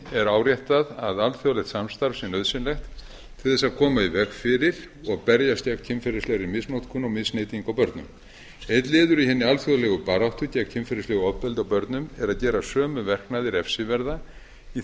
er áréttað að alþjóðlegt samstarf sé nauðsynlegt til þess að koma í veg fyrir og berjast gegn kynferðislegri misnotkun og misneytingu á börnum einn liður í hinni alþjóðlegu baráttu gegn kynferðislegu ofbeldi á börnum er að gera sömu verknaði refsiverða í